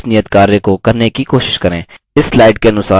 खुद से इस नियतकार्य को करने की कोशिश करें